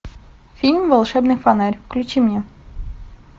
фильм волшебный фонарь включи мне